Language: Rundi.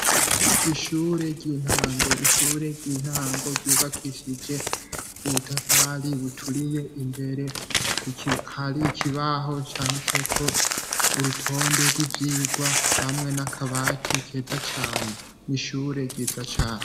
Ishure ry'intango. Ishure ry'intango ryubakishije ubutafari buturiye imbere hari ikibaho canditseko urutonde rw'ivyigwa hamwe n'akabati keza cane. N'ishure ryiza cane.